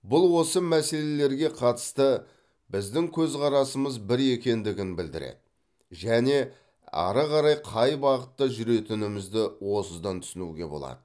бұл осы мәселелерге қатысты біздің көзқарасымыз бір екендігін білдіреді және ары қарай қай бағытта жүретінімізді осыдан түсінуге болады